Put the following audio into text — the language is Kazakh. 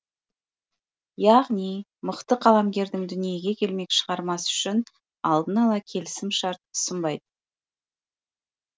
яғни мықты қаламгердің дүниеге келмек шығармасы үшін алдын ала келісім шарт ұсынбайды